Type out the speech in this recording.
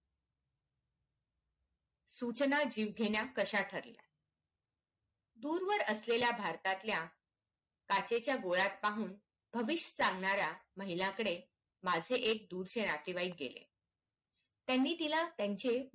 सूचना जीवघेण्या कश्या ठरल्या दूरवर असलेल्या भारतातल्या काचेच्या गोळ्यात पाहून भविष्य सांगणारा महिला कडे माझे एक दूरचे नातेवाईक गेले त्यांनी तिला त्यांचे